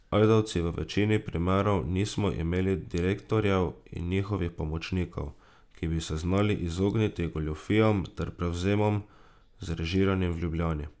Ajdovci v večini primerov nismo imeli direktorjev in njihovih pomočnikov, ki bi se znali izogniti goljufijam ter prevzemom, zrežiranim v Ljubljani.